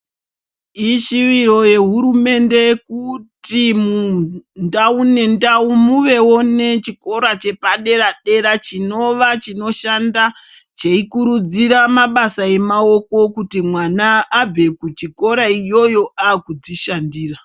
Ishuwiro yehurumende kuti mundau nendau muvewo nechikora chepadera-dera chinova chinoshanda cheikurudzira mabasa amaoko, kuti mwana abve kuchikora iyoyo akudzishandira.